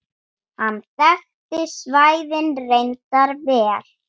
Hann þekkti svæðið reyndar vel.